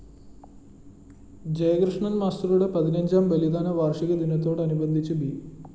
ജയകൃഷ്ണന്‍ മാസ്റ്ററുടെ പതിനഞ്ചാം ബലിദാന വാര്‍ഷിക ദിനത്തോട് അനുബന്ധിച്ച് ബി